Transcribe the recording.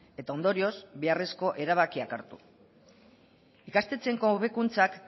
eta ondorioz beharrezko erabakiak hartu ikastetxeentzako hobekuntzak